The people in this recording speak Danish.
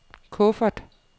kuffert